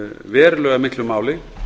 verulega miklu máli